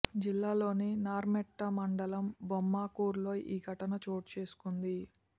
జిల్లాలోని నర్మెట్ట మండలం బొమ్మకూర్ లో ఈ ఘటన చోటు చేసుకుంది